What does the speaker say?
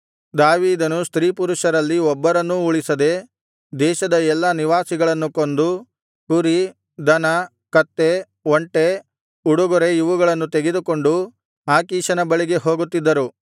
ದಾವೀದನು ಸ್ತ್ರೀಪುರುಷರಲ್ಲಿ ಒಬ್ಬರನ್ನೂ ಉಳಿಸದೆ ದೇಶದ ಎಲ್ಲಾ ನಿವಾಸಿಗಳನ್ನು ಕೊಂದು ಕುರಿ ದನ ಕತ್ತೆ ಒಂಟೆ ಉಡುಗೊರೆ ಇವುಗಳನ್ನು ತೆಗೆದುಕೊಂಡು ಆಕೀಷನ ಬಳಿಗೆ ಹೋಗುತ್ತಿದ್ದನು